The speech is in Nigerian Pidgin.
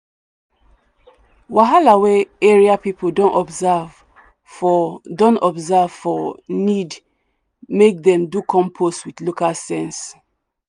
wahala wey area people don observe for don observe for need make dem do compost with local sense.